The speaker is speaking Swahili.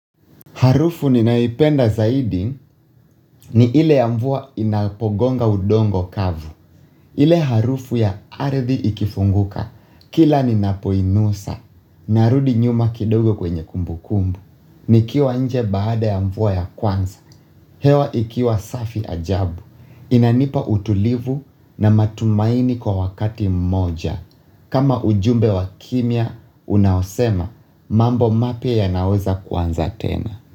Harufu ninayoipenda zaidi ni ile ya mvua inapogonga udongo kavu. Ile harufu ya ardhi ikifunguka, kila ninapoinusa, narudi nyuma kidogo kwenye kumbu kumbu. Nikiwa nje baada ya mvua ya kwanza, hewa ikiwa safi ajabu. Inanipa utulivu na matumaini kwa wakati mmoja. Kama ujumbe wa kimya, unaosema mambo mapya yanaweza kuanza tena.